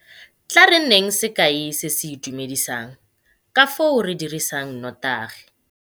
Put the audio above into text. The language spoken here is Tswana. Tla re nneng sekai se se itumedisang ka foo re dirisang notagi.